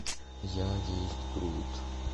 я есть грут